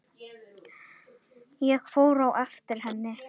Ég fór á eftir henni.